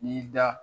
N'i y'i da